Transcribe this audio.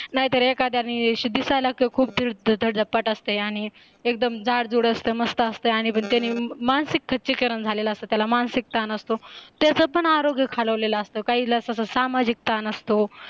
नाहीतर एखाद्यानी अशी दिसायला खूप धडदप्पाट असते आणी एकदम जाड जुड असत मस्त असतं आणि पण त्याने मानसिक खच्चीकरण झालेला असतो त्याला मानसिक ताण असतो त्याच्या पण आरोग्य खालावलेला असतो काहीला असं सामाजिक ताण असतो